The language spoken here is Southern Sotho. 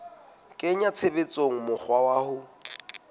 kenya tshebetsong mokgwa wa ho